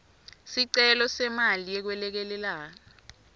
sicelo semali yekwelekelela